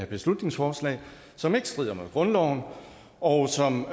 beslutningsforslag som ikke strider mod grundloven og som